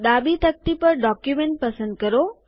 ડાબી તકતી પર ડોક્યુમેન્ટ પસંદ કરો